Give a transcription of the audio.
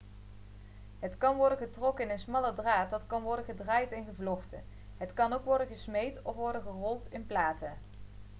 het kan worden getrokken in een smalle draad dat kan worden gedraaid en gevlochten het kan ook worden gesmeed of worden gerold in platen